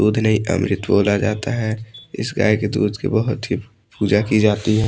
दूध नहीं अमृत बोला जाता है इस गाय के दूध की बहोत ही पूजा की जाती है।